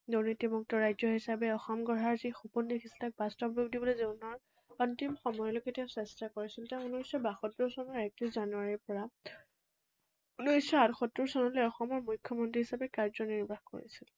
দুৰ্নীতিমুক্ত ৰাজ্য হিচাপে অসম গঢ়াৰ যি সপোন দেখিছিল, তাক বাস্তৱ ৰূপ দিবলৈ জীৱনৰ অন্তিম সময়লৈকে তেওঁ চেষ্টা কৰিছিল। তেওঁ ঊনৈশশ বাসত্তৰ চনৰ একত্ৰিশ জানুৱাৰীৰ পৰা ঊনৈশশ আঠসত্তৰ চনলৈ অসমৰ মুখ্যমন্ত্ৰী হিচাপে কাৰ্যনিৰ্বাহ কৰিছিল।